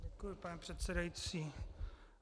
Děkuji, pane předsedající.